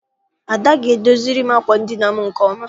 Ada ga- edoziri m àkwà edina m nke ọma.